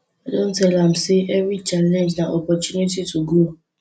i don tell am sey every challenge na opportunity to grow